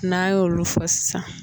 N'a y'olu fɔ sisan